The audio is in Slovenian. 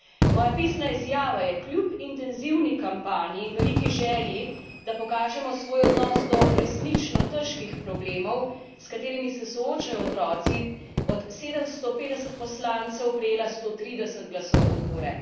Moja pisna izjava je, kljub intenzivni kampanji in veliki želji, da pokažemo svoj odnos do resnično težkih problemov, s katerimi se soočajo otroci, od 750 poslancev prejela 130 glasov podpore.